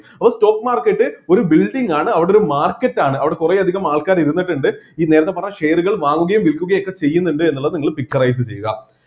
ഒരു stock market ഒരു building ആണ് അവിടെ ഒരു market ആണ് അവിടെ കുറെയധികം ആൾക്കാർ ഇരുന്നിട്ടിണ്ട് ഈ നേരത്തെ പറഞ്ഞ share കൾ വാങ്ങുകയും വിൽക്കുകയും ഒക്കെ ചെയ്യുന്നുണ്ട് എന്നുള്ളത് നിങ്ങൾ picturise ചെയ്യുക